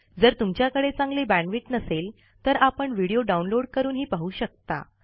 जर तुमच्याकडे चांगली बॅण्डविड्थ नसेल तर आपण व्हिडिओ डाउनलोड करूनही पाहू शकता